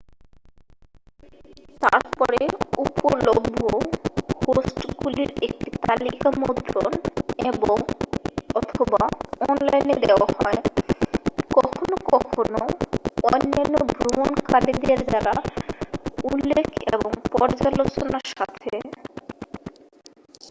তারপরে উপলভ্য হোস্টগুলির একটি তালিকা মুদ্রণ এবং/অথবা অনলাইনে দেওয়া হয়। কখনো কখনো অন্যান্য ভ্রমণকারীদের দ্বারা উল্লেখ এবং পর্যালোচনার সাথে।